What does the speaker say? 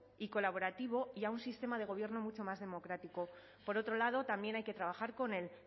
y colaborativo y a un sistema de gobierno mucho más democrático por otro lado también hay que trabajar con el